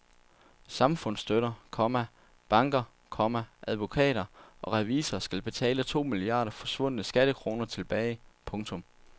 Samfundsstøtter, komma banker, komma advokater og revisorer skal betale to milliarder forsvundne skattekroner tilbage. punktum